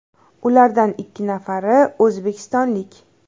Ulardan ikki nafari o‘zbekistonlik.